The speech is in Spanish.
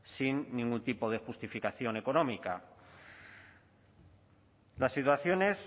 sin ningún tipo de justificación económica las situaciones